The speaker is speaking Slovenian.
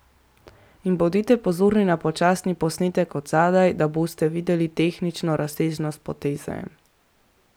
In bodite pozorni na počasni posnetek od zadaj, da boste videli tehnično razsežnost poteze.